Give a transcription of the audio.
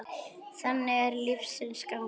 Þannig er lífsins gangur.